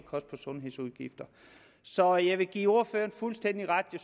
sundhedsudgifter så jeg vil give ordføreren fuldstændig ret i